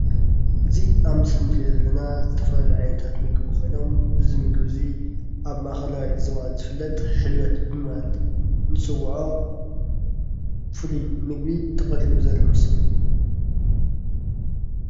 እዚ ኣብ ምስሊ ንርእዮ ዘለና ዝተፈላለዩ ዓይነታት ምግቢ ኾይኖም እዚ ምግቢ ዚ ኣብ ማእከላይ ዞባ ዝፍለጥ ሕብለት ብምባል ንፅውዖ ፉሊይ ምግቢ ተቐሪቡ ዘርኢ ምስሊ እዩ።